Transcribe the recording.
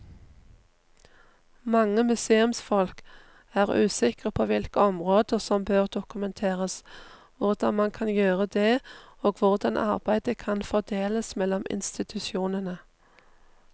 Mange museumsfolk er usikre på hvilke områder som bør dokumenteres, hvordan man kan gjøre det og hvordan arbeidet kan fordeles mellom institusjonene.